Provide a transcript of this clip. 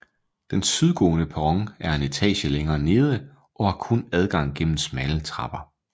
Den sydgående perron er en etage længere nede og har kun adgang gennem smalle trapper